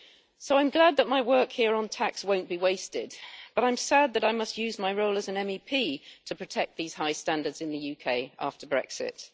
So I am glad that my work here on tax won't be wasted, but I am sad that I must use my role as an MEP to protect these high standards in the UK after Brexit.